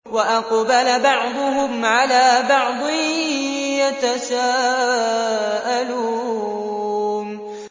وَأَقْبَلَ بَعْضُهُمْ عَلَىٰ بَعْضٍ يَتَسَاءَلُونَ